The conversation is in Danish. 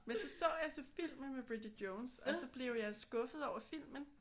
Men så så jeg så filmen med Bridget Jones og så blev jeg skuffet over filmen